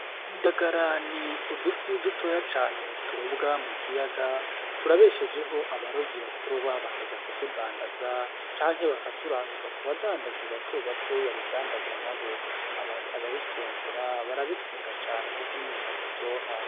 Indagara n'udufi dutoya cane turobwa mu kiyaga turabeshejeho abarovyi baturoba bakaja kutudandaza canke bakaturanguza kubadandaji batobato babidandaza nabo. Ababifungura barabikunda cane kuko n'inyama ziryoha.